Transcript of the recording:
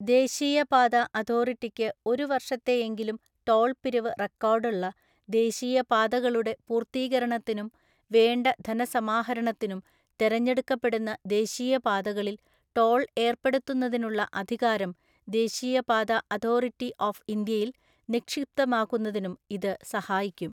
ദേശീയ പാത അതോറിറ്റിക്ക് ഒരുവർഷത്തെയെങ്കിലും ടോള്‍ പിരിവ് റെക്കോർഡുള്ള ദേശീയ പാതകളുടെ പൂർത്തീകരണത്തിനും വേണ്ട ധനസമാഹരണത്തിനും തെരഞ്ഞെടുക്കപ്പെടുന്ന ദേശീയപാതകളില്‍ ടോള്‍ ഏര്‍പ്പെടുത്തുന്നതിനുള്ള അധികാരം ദേശീയപാത അതോറിറ്റി ഓഫ് ഇന്ത്യയില്‍ നിക്ഷിപ്തമാക്കുന്നതിനും ഇത് സഹായിക്കും.